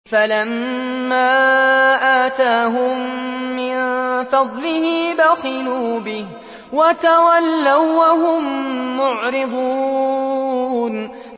فَلَمَّا آتَاهُم مِّن فَضْلِهِ بَخِلُوا بِهِ وَتَوَلَّوا وَّهُم مُّعْرِضُونَ